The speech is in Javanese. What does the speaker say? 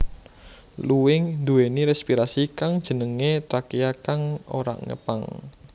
Luwing nduwèni respirasi kang jenengé trakea kang ora ngepang